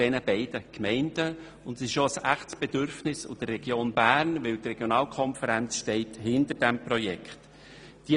Sie ist auch ein echtes Bedürfnis der Region Bern, weil die Regionalkonferenz BernMittelland dieses Projekt stützt.